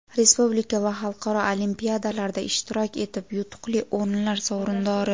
respublika va xalqaro olimpiadalarda ishtirok etib yutuqli o‘rinlar sovrindori.